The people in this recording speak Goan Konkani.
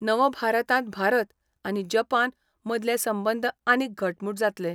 नवभारतांत भारत आनी जपान मदले संबंद आनीक घटमूट जातले.